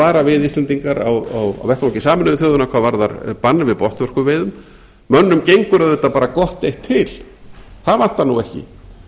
vara við íslendingar á vettvangi sameinuðu þjóðanna hvað varðar bann við botnvörpuveiðum mönnum gengur auðvitað bara gott eitt til það vantar nú ekki